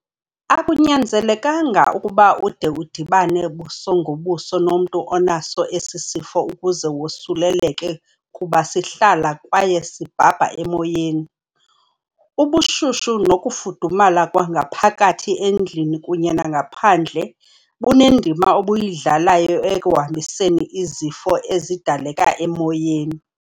Akunyanzelekanga ukuba ude udibane buso ngobuso nomntu onaso esi sifo ukuze wosuleleke kuba sihlala kwaye sibhabha emoyeni. Ubushushu nokufudumala kwangaphakathi endlini kunye nangaphandle bunendima obuyidlalayo ekuhambiseni izifo ezidaleka emoyeni.